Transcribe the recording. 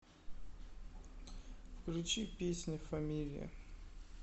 включи песня фамилия